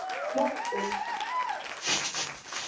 Á morgun.